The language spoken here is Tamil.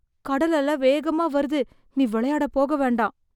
கடல் அல வேகமா வருது. நீ வெளயாட போக வேண்டாம்.